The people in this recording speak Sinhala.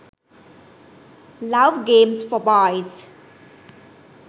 love games for boys